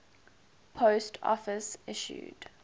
post office issued